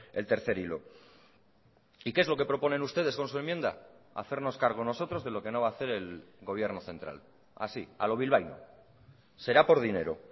el tercer hilo y qué es lo que proponen ustedes con su enmienda hacernos cargo nosotros de lo que no va a hacer el gobierno central así a lo bilbaíno será por dinero